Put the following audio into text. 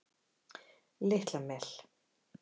Litla Mel